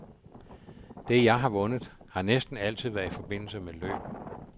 Det, jeg har vundet, har næsten altid været i forbindelse med løb.